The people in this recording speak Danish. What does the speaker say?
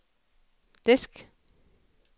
disk